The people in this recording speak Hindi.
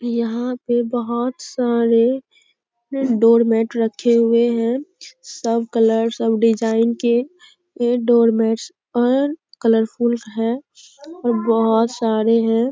यहाँ पे बहुत सारे डोरमेट रखे हुए हैं सब कलर्स सब डिजाइन के ये डोरमेट कलरफुल है और बहुत सारे हैं।